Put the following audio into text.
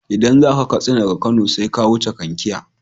Idan zaka Katsina daga Kano sai ka wuce Kankia.